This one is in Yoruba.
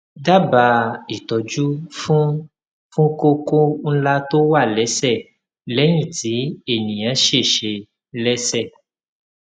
dábàá ìtọjú fún fún kókó ńlá tó wà lẹsẹ lẹyìn tí ènìyàn ṣèṣe lẹsẹ